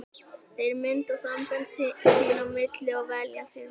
Þeir mynda sambönd sín á milli og velja sér vini.